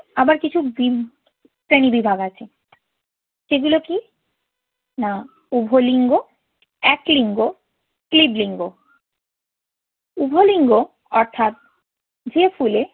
আবার কিছু ডিম শ্রেণিবিভাগ আছে। সেগুলো কি? না উভলিঙ্গ, এক লিঙ্গ, ক্লীব লিঙ্গ। উভলিঙ্গ অর্থাৎ যে ফুলে